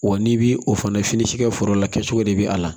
Wa n'i bi o fana fini si kɛ foro la kɛcogo de bɛ a la